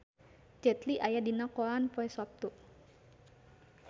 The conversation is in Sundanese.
Jet Li aya dina koran poe Saptu